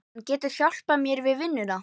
Hann getur hjálpað mér við vinnuna